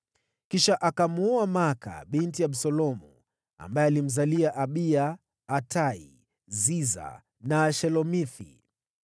Kisha akamwoa Maaka binti Absalomu, ambaye alimzalia: Abiya, Atai, Ziza na Shelomithi.